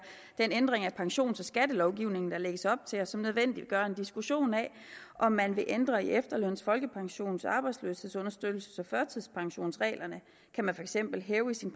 den ændring af pensions og skattelovgivningen der lægges op til og som nødvendiggør en diskussion af om man vil ændre i efterløns folkepensions arbejdsløshedsunderstøttelses og førtidspensionsreglerne kan man for eksempel hæve af sin